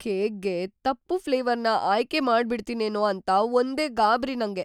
ಕೇಕ್‌ಗೆ ತಪ್ಪು ಫ್ಲೇವರ್‌ನ ಆಯ್ಕೆ ಮಾಡ್ಬಿಡ್ತಿನೇನೋ ಅಂತ ಒಂದೇ ಗಾಬ್ರಿ ನಂಗೆ.